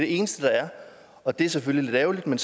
eneste der er og det er selvfølgelig lidt ærgerligt men